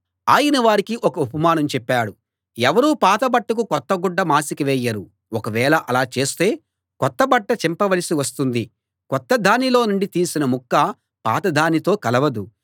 ఆయన వారికి ఒక ఉపమానం చెప్పాడు ఎవరూ పాత బట్టకు కొత్త గుడ్డ మాసిక వేయరు ఒక వేళ అలా చేస్తే కొత్త బట్ట చింపవలసి వస్తుంది కొత్తదానిలో నుండి తీసిన ముక్క పాతదానితో కలవదు